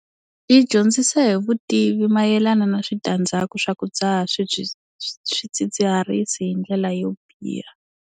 Yi dyondzisa hi vutivi mayelana na switandzhaku swa ku dzaha swidzidziharisi hi ndlela yo biha.